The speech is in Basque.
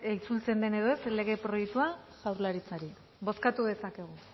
itzultzen den edo ez lege proiektua jaurlaritzari bozkatu dezakegu